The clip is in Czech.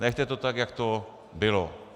Nechte to tak, jak to bylo.